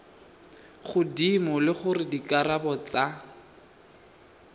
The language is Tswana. godimo le gore dikarabo tsa